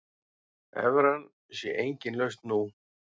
Evran sé engin lausn nú.